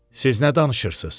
Siz nə danışırsız?